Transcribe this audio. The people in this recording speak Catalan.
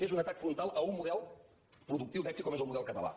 és un atac frontal a un model productiu d’èxit com és el model català